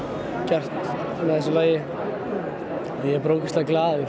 gert með þessu lagi og ég er bara ógeðslega glaður